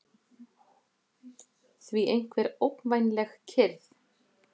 því einhver ógnvænleg kyrrð.